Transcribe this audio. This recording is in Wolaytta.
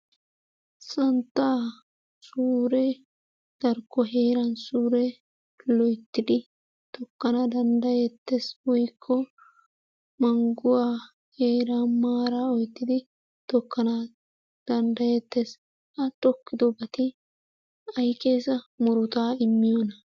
Santtaa suuree darkko heeran suure loyttidi tokkana danddayettees woykko mangguwa heeran maaraa oottidi tokkana danddayettees, ha tokkiddo gade wossa murutaa immiyona?